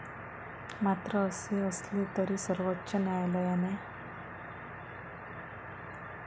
मात्र असे असेल तरी सर्वोच्च न्यायालयाने.